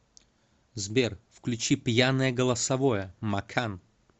сбер включи пьяное голосовое макан